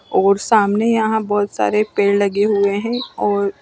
और सामने यहा बोहोत सारे पेड़ लगे हुए है और --